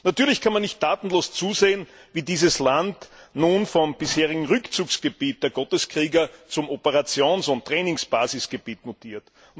Natürlich kann man nicht tatenlos zusehen, wie dieses Land nun vom bisherigen Rückzugsgebiet der Gotteskrieger zum Operations und Trainingsbasisgebiet mutiert.